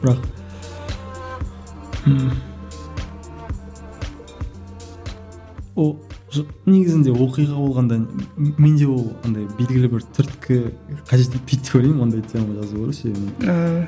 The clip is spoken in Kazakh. бірақ ыыы негізінде оқиға болғанда менде ол андай белгілі бір түрткі қажет етпейді деп ойлаймын ондай тема жазуға ше ааа